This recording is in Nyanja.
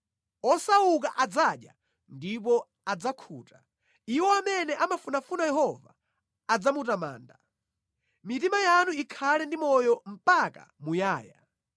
Osauka adzadya ndipo adzakhuta; iwo amene amafunafuna Yehova adzamutamanda. Mitima yanu ikhale ndi moyo mpaka muyaya!